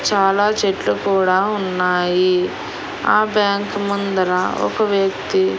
చాలా చెట్లు కూడా ఉన్నాయి ఆ బ్యాంకు ముందర ఒక వ్యక్తి--